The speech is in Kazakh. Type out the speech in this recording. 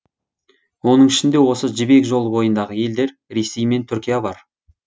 оның ішінде осы жібек жолы бойындағы елдер ресей мен түркия бар